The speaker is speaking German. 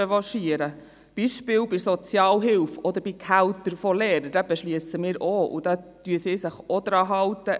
Beispielsweise bei der Sozialhilfe oder bei den Gehältern der Lehrer beschliessen wir auch, und dort halten sie sich auch daran.